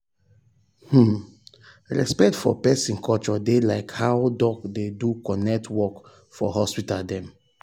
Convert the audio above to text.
hmmm respect for peson culture dey like how doc dey do correct work for hospital dem.